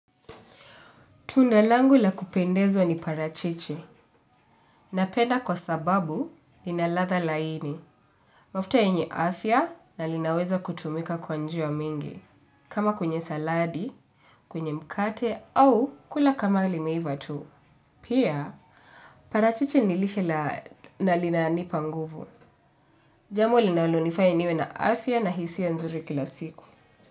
Tunda langu la kupendeza ni parachichi. Napenda kwa sababu ina ladha laini. Mafuta yenye afya na linaweza kutumika kwa njia mingi. Kama kwenye saladi, kwenye mkate au kula kama limeiva tu. Pia parachichi nilishe na linanipa nguvu. Jambo linalonifanya niwe na afya na hisia nzuri kila siku.